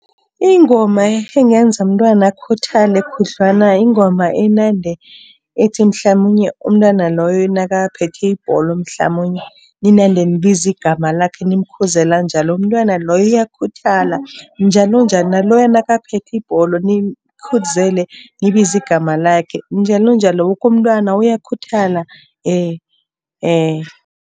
Ingoma engenza umntwana akhuthale khudlwana yingoma enande ethi, mhlamunye umntwana loyo nakaphethe ibholo mhlamunye ninande nibiza igama lakhe nimkhuzela njalo. Umntwana loyo uyakhuthala njalonjalo, naloya nakaphethe ibholo nimkhuzele nibize igama lakhe njalonjalo. Woke umntwana uyakhuthala .